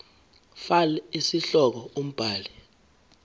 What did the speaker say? fal isihloko umbhali